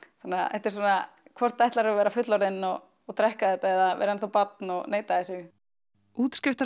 þetta er svona hvort ætlarðu að vera fullorðin og og drekka þetta eða barn og neita þessu